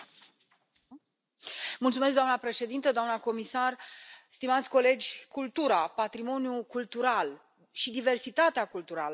Doamnă președintă, doamnă comisar, stimați colegi, cultura, patrimoniul cultural și diversitatea culturală sunt bogății ale pieței unice.